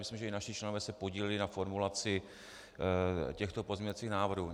Myslím, že i naši členové se podíleli na formulaci těchto pozměňovacích návrhů.